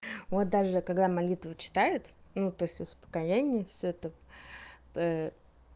вот даже когда молитву читают ну то есть успокоение всё это